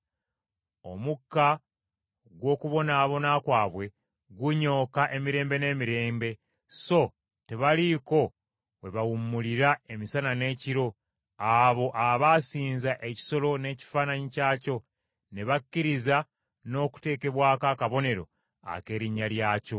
Omukka gw’okubonaabona kwabwe gunyooka emirembe n’emirembe, so tebaliiko we bawummulira emisana n’ekiro abo abaasinza ekisolo n’ekifaananyi kyakyo, ne bakkiriza n’okuteekebwako akabonero ak’erinnya lyakyo.